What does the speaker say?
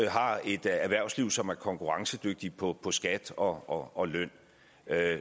har et erhvervsliv som er konkurrencedygtigt på på skat og og løn